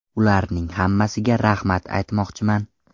Ularning hammasiga rahmat aytmoqchiman.